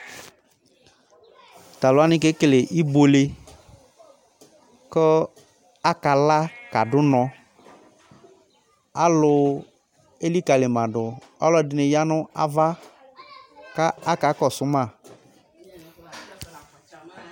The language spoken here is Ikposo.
Tʋ alʋ wanɩ kekele ibuele kʋ akala kadʋ ʋnɔ Alʋ elikalɩ ma dʋ Ɔlɔdɩnɩ ya nʋ ava kʋ akakɔsʋ ma